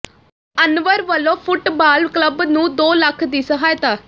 ਅਨਵਰ ਵੱਲੋਂ football club ਨੂੰ ਦੋ ਲੱਖ ਦੀ ਸਹਾਇਤਾ